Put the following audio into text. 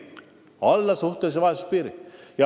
Alla suhtelise vaesuse piiri!